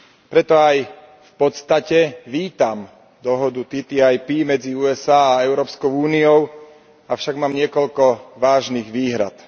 Preto aj v podstate vítam dohodu TTIP medzi USA a Európskou úniou, avšak mám niekoľko vážnych výhrad.